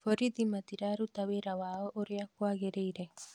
Borithi matiraruta wĩra wao ũrĩa kwagĩrĩire